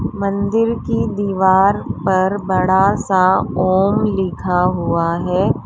मंदिर की दीवार पर बड़ा सा ओम लिखा हुआ है।